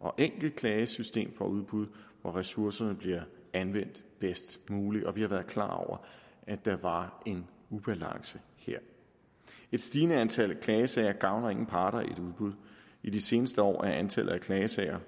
og enkelt klagesystem for udbud hvor ressourcerne bliver anvendt bedst muligt og vi har været klar over at der var en ubalance her et stigende antal klagesager gavner ingen parter i et udbud i de seneste år er antallet af klagesager